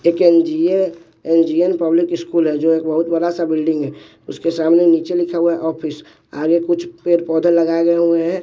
एक N G A N G N public school है जो एक बहुत बड़ा सा बिल्डिंग है उसके सामने नीचे लिखा हुआ है ऑफिस आगे कुछ पेड़ पौधा लगाए गए हुए हैं।